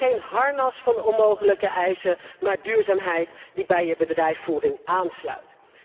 Dus geen harnas van onmogelijke eisen, maar duurzaamheid die bij je bedrijfsvoering aansluit.